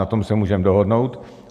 Na tom se můžeme dohodnout.